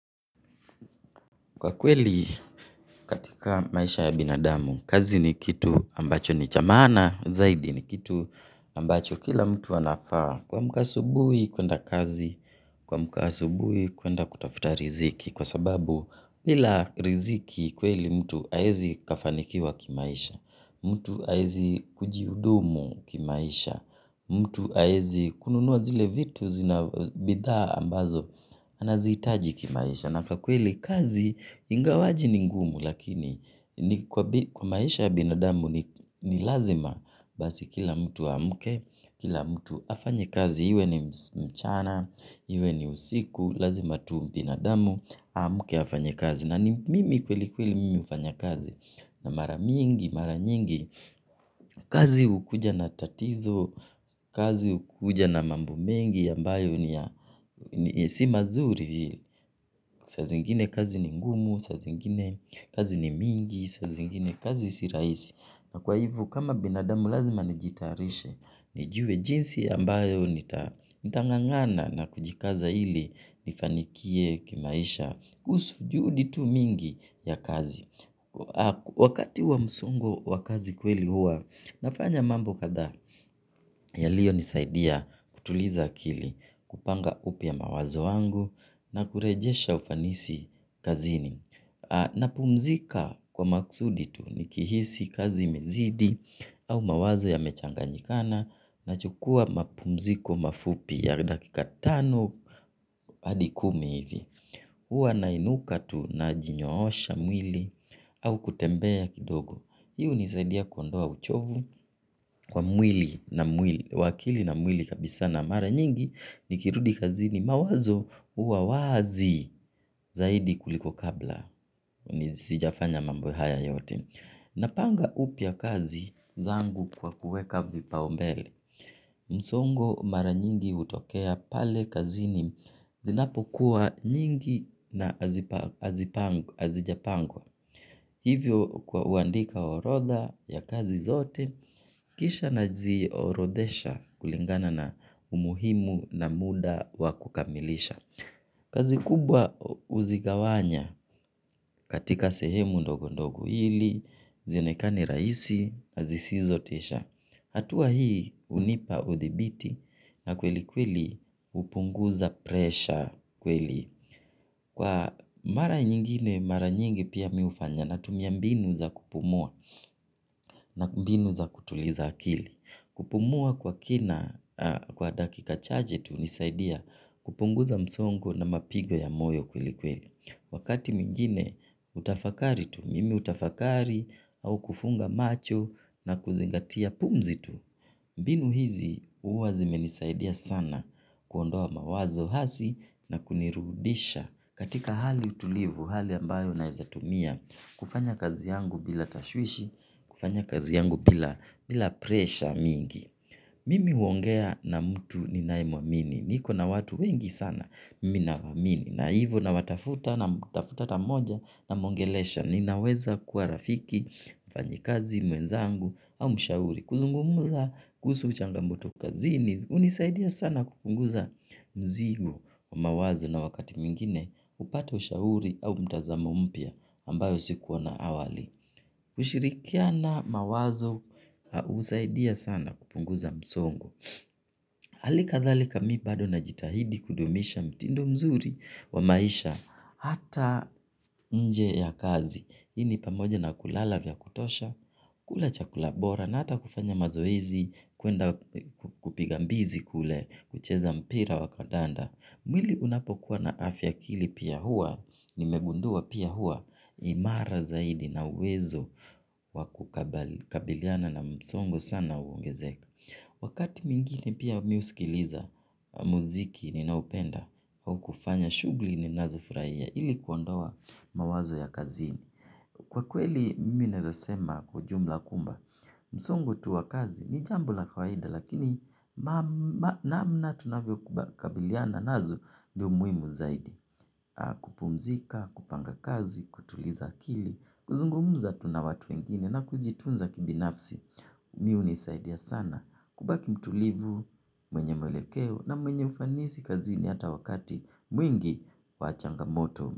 Kwa kweli katika maisha ya binadamu, kazi ni kitu ambacho ni cha maana, zaidi ni kitu ambacho kila mtu anafaa. Kuamka asubuhi kwenda kazi, kuamka asubuhi kwenda kutafuta riziki. Kwa sababu pila riziki kweli mtu aezi kafanikiwa kimaisha, mtu aezi kujiudumu kimaisha, mtu aezi kununua zile vitu zina bidhaa ambazo, anaziitaji kimaisha. Na kwa kweli kazi ingawaje ni ngumu lakini kwa maisha ya binadamu ni lazima basi kila mtu aamke. Kila mtu afanye kazi iwe ni mchana, iwe ni usiku, lazima tu binadamu, aamke afanye kazi. Na mimi kweli kweli mimi hufanya kazi na maramingi, maranyingi. Kazi hukuja na tatizo, kazi hukuja na mambo mengi ambayo ni si mazuri. Sa zingine kazi ni ngumu, sa zingine kazi ni mingi, sa zingine kazi si rahisi, na kwa hivo kama binadamu lazima nijitayarishe, nijue jinsi ambayo nitangangana na kujikaza ili nifanikie kimaisha, kusu juhudi tu mingi ya kazi. Wakati wa msungo wa kazi kweli hua nafanya mambo kathaa yaliyo nisaidia kutuliza akili kupanga upya mawazo wangu na kurejesha ufanisi kazini na pumzika kwa maksudi tu nikihisi kazi imezidi au mawazo ya mechanganyikana nachukua mapumziko mafupi ya dakika tano hadi kumihivi hua nainuka tu na jinyoosha mwili. Au kutembea kidogo. Hii hnisaidia kuondoa uchovu. Kwa mwili na mwili wa akili na mwili kabisa na mara nyingi. Nikirudi kazini mawazo huwa wazi zaidi kuliko kabla. Nisi jafanya mambo haya yote. Napanga upya kazi zangu kwa kuweka vipaumbele. Msongo mara nyingi hutokea pale kazini. Zinapo kuwa nyingi na hazijapangwa. Hivyo kwa uandika orodha ya kazi zote, kisha na ziorodesha kulingana na umuhimu na muda wakukamilisha. Kazi kubwa uzigawanya katika sehemu ndogondogo hili, zionekani rahisi, azisizotesha. Hatua hii hunipa uthibiti na kweli kweli hupunguza presha kweli. Kwa mara nyingine mara nyingi pia miufanya na tumia mbinu za kupumua na mbinu za kutuliza akili. Kupumua kwa kina kwa dakika chache tu nisaidia kupunguza msongo na mapigo ya moyo kweli kweli. Wakati mwingine utafakari tu, mimi hutafakari au kufunga macho na kuzingatia pumzi tu, binu hizi huwa zimenisaidia sana kuondoa mawazo hasi na kunirudisha katika hali utulivu, hali ambayo naezatumia, kufanya kazi yangu bila tashwishi, kufanya kazi yangu bila presha mingi. Mimi huongea na mtu ninayemuamini, niko na watu wengi sana mimi nawaamini, na hivyo na watafuta na mtafuta tamoja na mongelesha, ninaweza kuwa rafiki, fanyikazi, mwenzangu au mshauri, kuzungumuza kuhusu uchangamoto kazini, hunisaidia sana kupunguza mzigo wa mawazo na wakati mwingine, hupata ushauri au mtazamo mpya ambayo sikuwa na awali. Kushirikiana mawazo husaidia sana kupunguza msongo. Halika thalika mi bado na jitahidi kudumisha mtindo mzuri wa maisha. Hata nje ya kazi hii ni pamoja na kulala vya kutosha. Kula chakula bora na hata kufanya mazoezi. Kuenda kupiga mbizi kule. Kucheza mpira wa kadanda. Mwili unapokuwa na afya akili pia hua. Nimegundua pia hua imara zaidi na uwezo wakukabiliana na msongo sana uongezeka. Wakati mwingine pia miusikiliza muziki ni naupenda au kufanya shugli ni nazo furahia ili kuondoa mawazo ya kazini. Kwa kweli mimi naezasema kujumla kumba msongo tu wa kazi ni jambo la kawaida lakini namna tunavyo kubakabiliana nazo ndio muhimu zaidi. Kupumzika, kupanga kazi, kutuliza akili. Kuzungumuza tu nawatu wengine na kujitunza kibinafsi mi hunisaidia sana. Kubaki mtulivu mwenye mwelekeo na mwenye ufanisi kazini hata wakati mwingi wachanga moto.